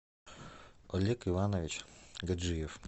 олег иванович гаджиев